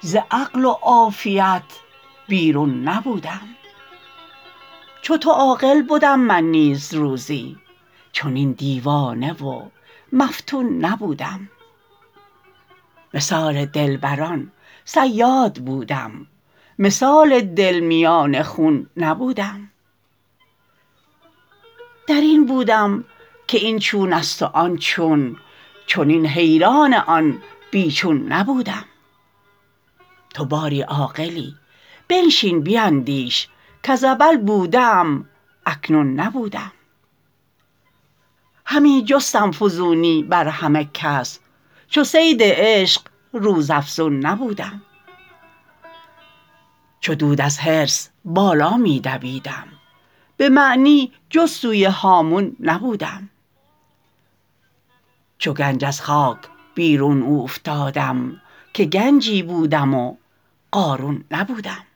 ز عقل و عافیت بیرون نبودم چو تو عاقل بدم من نیز روزی چنین دیوانه و مفتون نبودم مثال دلبران صیاد بودم مثال دل میان خون نبودم در این بودم که این چون است و آن چون چنین حیران آن بی چون نبودم تو باری عاقلی بنشین بیندیش کز اول بوده ام اکنون نبودم همی جستم فزونی بر همه کس چو صید عشق روزافزون نبودم چو دود از حرص بالا می دویدم به معنی جز سوی هامون نبودم چو گنج از خاک بیرون اوفتادم که گنجی بودم و قارون نبودم